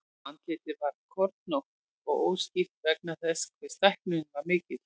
Andlitið var kornótt og óskýrt vegna þess hve stækkunin var mikil.